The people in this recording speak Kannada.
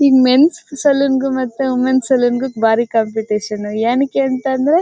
ಈ ಮೆನ್ ಸ್ ಸಲೂನ್ ಗು ಮತ್ತೆ ವಿಮೆನ್ ಸ್ ಸಲೂನ್ ಬಾರಿ ಕಾಂಪಿಟಿಷನ್ ಯಾನಕ್ಕೆ ಅಂತ ಅಂದ್ರೆ--